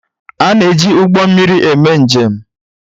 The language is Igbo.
A na eji Ụgbọ mmiri eme njem.